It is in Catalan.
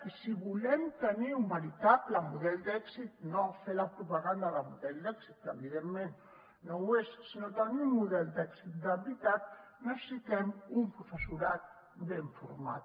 i si volem tenir un veritable model d’èxit no fer la propaganda de model d’èxit que evidentment no ho és sinó tenir un model d’èxit de veritat necessitem un professorat ben format